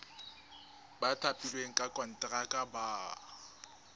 ba thapilweng ka konteraka ba